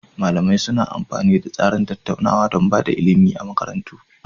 Malamai suna amfani da tsarin tattaunawa don ba da ilimi a makarantu.